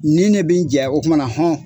Nin de bɛ n jɛ o tumana hɔn